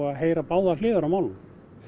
að heyra báðar hliðar á málinu